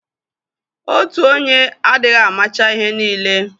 Otu onye adịghị amacha ihe niile.